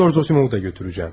Doktor Zosimov'u da götüreceğim.